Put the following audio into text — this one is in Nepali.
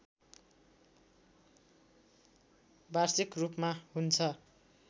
वार्षिक रूपमा हुन्छ